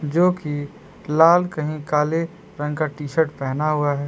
जो की लाल कहीं काले रंग का टी शर्ट पहना हुआ है।